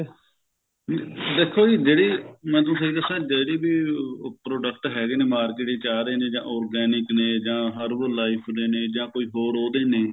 ਦੇਖੋ ਜੀ ਜਿਹੜੀ ਮੈਂ ਤੁਹਾਨੂੰ ਸਹੀ ਦੱਸਾ ਜਿਹੜੀ ਵੀ ਉਹ product ਹੈਗੇ ਨੇ market ਵਿੱਚ ਆ ਰਹੇ ਨੇ ਜਾ organic ਨੇ ਜਾ herbal life ਦੇ ਨੇ ਜਾ ਕੋਈ ਹੋਰ ਉਹਦੇ ਨੇ